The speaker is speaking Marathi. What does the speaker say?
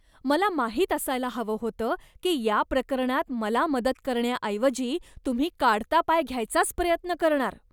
मला माहीत असायला हवं होतं की या प्रकरणात मला मदत करण्याऐवजी तुम्ही काढता पाय घ्यायचाच प्रयत्न करणार.